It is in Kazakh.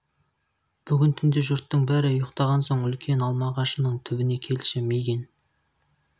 бүгін түнде жұрттың бәрі ұйықтаған соң үлкен алма ағашының түбін келші мигэн